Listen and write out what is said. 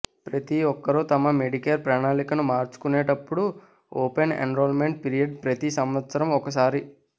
ప్రతి ఒక్కరూ తమ మెడికేర్ ప్రణాళికను మార్చుకునేటప్పుడు ఓపెన్ ఎన్రోల్మెంట్ పీరియడ్ ప్రతి సంవత్సరం ఒక సారి